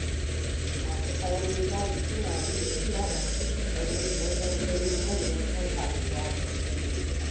Masu ƙaramin jari suna yin iya bakin ƙoƙarinsu wajen ganin manyan 'yan kasuwa ba su danne su ba.